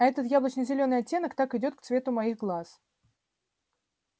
а этот яблочно-зеленый оттенок так идёт к цвету моих глаз